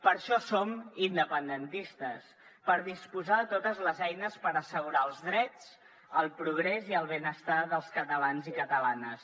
per això som independentistes per disposar de totes les eines per assegurar els drets el progrés i el benestar dels catalans i catalanes